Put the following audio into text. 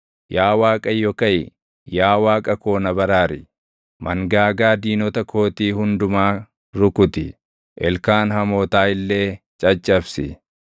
Yaa Waaqayyo kaʼi! Yaa Waaqa koo na baraari! Mangaagaa diinota kootii hundumaa rukuti; ilkaan hamootaa illee caccabsi.